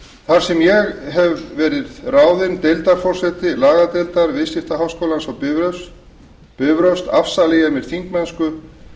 þar sem ég hef verið ráðin deildarforseti lagadeildar viðskiptaháskólans á bifröst afsala ég mér þingmennsku